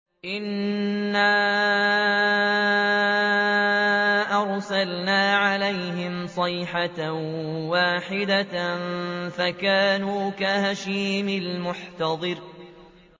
إِنَّا أَرْسَلْنَا عَلَيْهِمْ صَيْحَةً وَاحِدَةً فَكَانُوا كَهَشِيمِ الْمُحْتَظِرِ